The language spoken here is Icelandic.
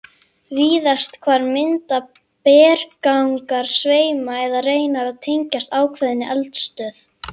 Víðast hvar mynda berggangar sveima eða reinar sem tengjast ákveðinni eldstöð.